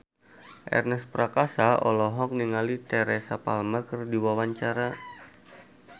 Ernest Prakasa olohok ningali Teresa Palmer keur diwawancara